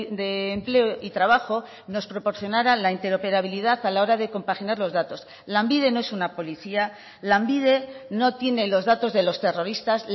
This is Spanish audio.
de empleo y trabajo nos proporcionara la interoperabilidad a la hora de compaginar los datos lanbide no es una policía lanbide no tiene los datos de los terroristas